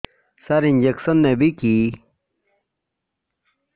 ସାର injection ନେବିକି